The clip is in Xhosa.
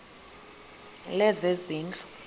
lezezindlu